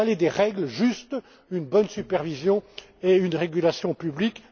financière. Il fallait des règles justes, une bonne supervision et une régulation